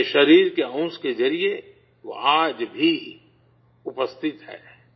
اپنے جسم کے حصہ کے ذریعے وہ آج بھی موجود ہے